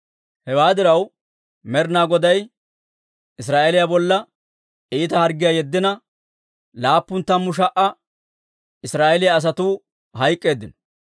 Hewaa diraw, Med'inaa Goday Israa'eeliyaa bolla iita harggiyaa yeddina, laappun tammu sha"a Israa'eeliyaa asatuu hayk'k'eeddino.